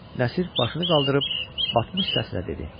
Nəsir başını qaldırıb batmış səslə dedi: